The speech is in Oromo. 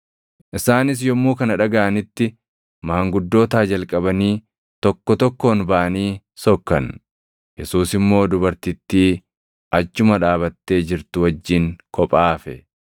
Isaanis yommuu kana dhagaʼanitti maanguddootaa jalqabanii tokko tokkoon baʼanii sokkan; Yesuus immoo dubartittii achuma dhaabattee jirtu wajjin kophaa hafe.